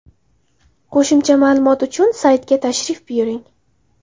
Qo‘shimcha ma’lumot olish uchun saytiga tashrif buyuring.